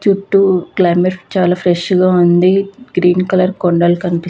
చుట్టూ క్లైమేట్ చాల ఫ్రెష్ గ ఉంది గ్రీన్ కలర్ కొండలు కనిపి --